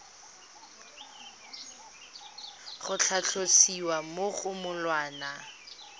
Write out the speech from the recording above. go tlhalosiwa mo go molawana